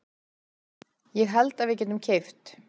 Ég held að við getum keypt.